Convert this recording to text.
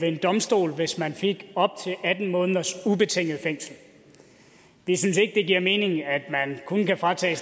en domstol hvis man fik op til atten måneders ubetinget fængsel vi synes ikke det giver mening at man kun kan fratage